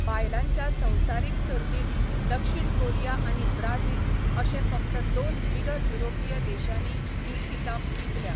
बायलांच्या संवसारीक सर्तींत दक्षिण कोरिया आनी ब्राझील अशे फकत दोन बिगर युरोपीय देशांनी ही खिताब जिखल्या.